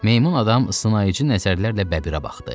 Meymun adam sınayıcı nəzərlərlə bəbirə baxdı.